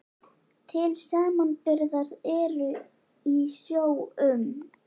Til samanburðar eru í sjó um